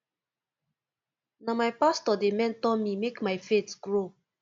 na my pastor dey mentor me make my faith grow